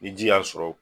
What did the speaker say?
Ni ji y'a sɔrɔ